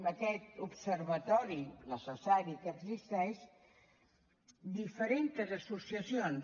en aquest observatori necessari que existeix diferents associacions